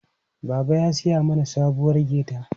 Baba ya siya mana sabuwar gate.